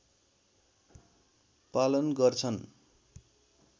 पालन गर्छन्